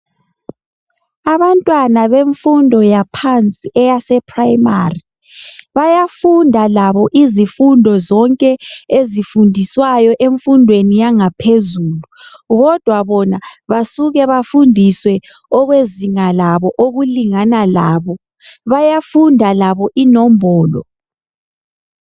Abantwana bemfundo yaphansi eyasePrimary. Bayafunda labo izifundo zonke ezifundiswayo emfundweni yangaphezulu kodwa bona basuke bafundiswe okwezinga labo, okulingana labo. Bayafunda labo inombolo.